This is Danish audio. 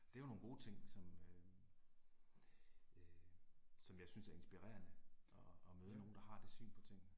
Det er jo nogle gode ting som øh øh som jeg synes er inspirerende. At at møde nogen der har det syn på tingene